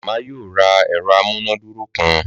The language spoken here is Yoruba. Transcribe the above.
Màmá yóò ra ẹ̀rọ amúnàdúró kan